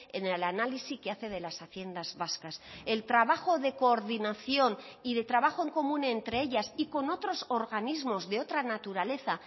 en el análisis que hace de las haciendas vascas el trabajo de coordinación y de trabajo en común entre ellas y con otros organismos de otra naturaleza